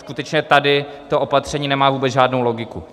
Skutečně tady to opatření nemá vůbec žádnou logiku.